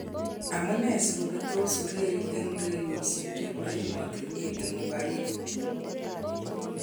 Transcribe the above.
Amu nee si kobetos urerik eng urerioshek che bo emotinwek eng ughaibu?